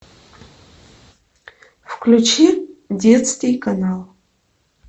включи детский канал